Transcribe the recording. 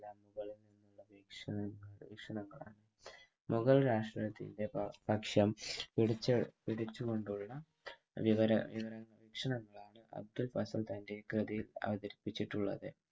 വീക്ഷണങ്ങളാണ്. മുഗൾ രാഷ്ട്രത്തിൻ്റെ പക്ഷ്യം പിടിച്ചുകൊണ്ടുള്ള വിവര വീക്ഷണങ്ങളാണ് അബ്‌ദുൾ ഫസൽ തൻ്റെ കൃതിയിൽ അവതരിപ്പിച്ചിട്ടുള്ളത്.